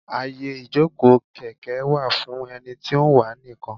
Àyè ìjókòó kèké wà fún ẹni tí ó ń wà á nìkan.